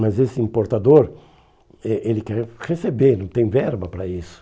Mas esse importador, eh ele quer receber, não tem verba para isso.